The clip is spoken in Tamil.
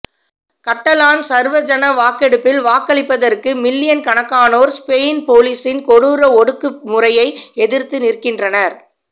கட்டலான் சர்வஜனவாக்கெடுப்பில் வாக்களிப்பதற்கு மில்லியன் கணக்கானோர் ஸ்பெயின் போலிசின் கொடூர ஒடுக்குமுறையை எதிர்த்து நிற்கின்றனர்